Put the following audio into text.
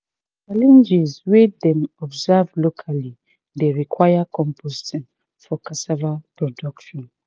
challenges wey dem observe locally dey require composting for cassava production."